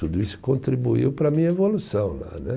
Tudo isso contribuiu para a minha evolução lá né